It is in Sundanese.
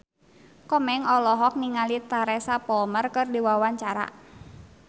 Komeng olohok ningali Teresa Palmer keur diwawancara